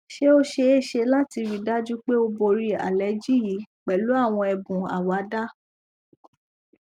ṣé o ṣee ṣe lati rii daju pe o bori aleji yi pẹlu àwọn ẹbùn àwàdá